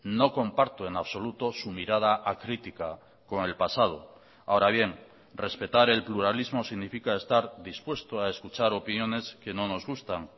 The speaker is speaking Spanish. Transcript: no comparto en absoluto su mirada acrítica con el pasado ahora bien respetar el pluralismo significa estar dispuesto a escuchar opiniones que no nos gustan